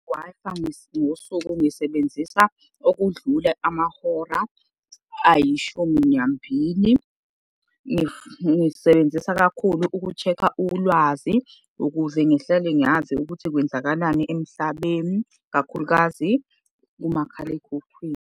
Wi-Fi ngosuku ngisebenzisa okudlula amahora ayishumi nambili. Ngisebenzisa kakhulu uku-check-a ulwazi, ukuze ngihlale ngazi ukuthi kwenzakalani emhlabeni kakhulukazi kumakhalekhukhwini.